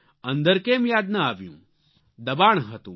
અંદર કેમ યાદ ન આવ્યું દબાણ હતું